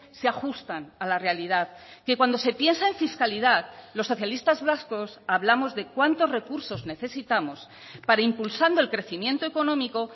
se ajustan a la realidad que cuando se piensa en fiscalidad los socialistas vascos hablamos de cuántos recursos necesitamos para impulsando el crecimiento económico